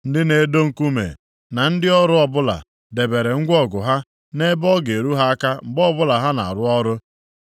Ndị na-edo nkume na ndị ọrụ ọbụla debere ngwa ọgụ ha nʼebe ọ ga-eru ha aka mgbe ọbụla ha na-arụ ọrụ.